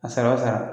A sara o sara